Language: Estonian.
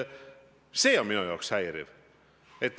See on minu jaoks häiriv.